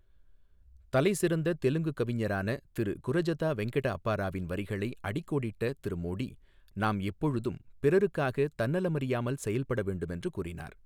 தலைசிறந்த தெலுங்கு கவிஞரான திரு குரஜதா வெங்கட அப்பாராவின் வரிகளை அடிக்கோடிட்ட திரு மோடி, நாம் எப்பொழுதும் பிறருக்காக தன்னலமறியாமல் செயல்பட வேண்டும் என்று கூறினார்.